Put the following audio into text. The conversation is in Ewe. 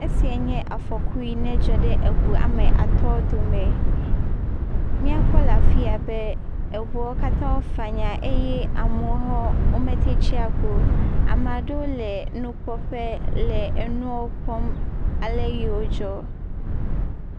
Esia nye afɔku yi ne dzɔ ɖe eŋu ame atɔ dome. M]akpɔ le afi yia be eŋuwo katã fanya eye amewo hã womete tsi agbe o. Ame aɖewo le nukpɔƒe le enuwo kpɔm ale yio dzɔ.